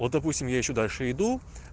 вот допустим я ещё дальше иду